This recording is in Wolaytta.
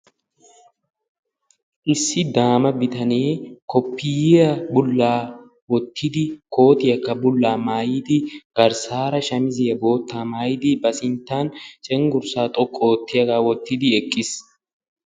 Issi daama bitanee koppiyyiya bullaa wottidi kootiyakka bullaa maayidi garssaara shamiziya boottaa maayidi ba sinttan cenggurssaa xoqqu oottiyagaa wottidi eqqis.